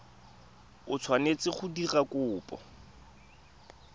o tshwanetseng go dira kopo